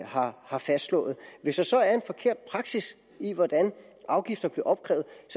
har har fastslået hvis der så er en forkert praksis i hvordan afgifter bliver opkrævet